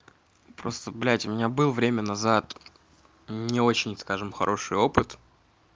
просто блядь у меня был время назад не очень скажем хороший опыт